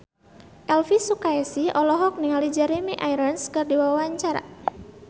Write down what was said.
Elvy Sukaesih olohok ningali Jeremy Irons keur diwawancara